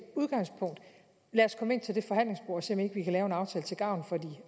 udgangspunkter lad os komme ind til det forhandlingsbord og se om ikke vi kan lave en aftale til gavn for de